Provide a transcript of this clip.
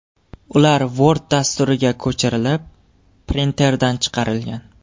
Ular Word dasturiga ko‘chirilib, printerdan chiqarilgan.